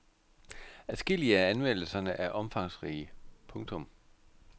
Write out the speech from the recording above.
Adskillige af anmeldelserne er omfangsrige. punktum